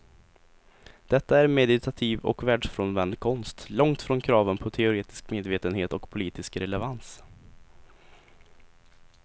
Detta är meditativ och världsfrånvänd konst långt från kraven på teoretisk medvetenhet och politisk relevans.